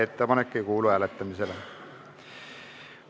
Ettepanek ei kuulu hääletamisele.